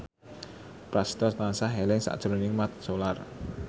Prasetyo tansah eling sakjroning Mat Solar